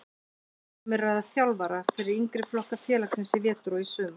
Um er að ræða þjálfara fyrir yngri flokka félagsins í vetur og í sumar.